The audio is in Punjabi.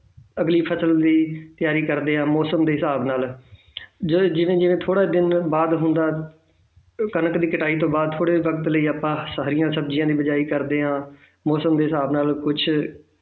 ਅਗਲੀ ਫ਼ਸਲ ਦੀ ਤਿਆਰੀ ਕਰਦੇ ਹਾਂ ਮੌਸਮ ਦੇ ਹਿਸਾਬ ਨਾਲ ਜਦੋਂ ਜਿਵੇਂ ਜਿਵੇਂ ਥੋੜ੍ਹਾ ਦਿਨ ਬਾਅਦ ਹੁੰਦਾ ਕਣਕ ਦੀ ਕਟਾਈ ਤੋਂ ਬਾਅਦ ਥੋੜ੍ਹੇ ਵਕਤ ਲਈ ਆਪਾਂ ਹਰੀਆਂ ਸਬਜ਼ੀਆਂ ਦੀ ਬੀਜਾਈ ਕਰਦੇ ਹਾਂ ਮੌਸਮ ਦੇ ਹਿਸਾਬ ਨਾਲ ਕੁਛ